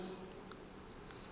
bo ka se tsoge bo